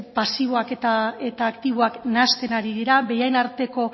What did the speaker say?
pasiboak eta aktiboak nahasten ari dira bien arteko